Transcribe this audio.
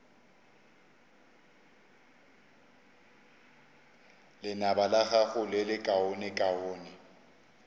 lenaba la gago le lekaonekaone